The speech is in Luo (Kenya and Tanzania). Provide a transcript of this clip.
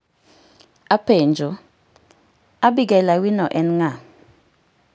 Apenjo, Abigail Awino en ng'a?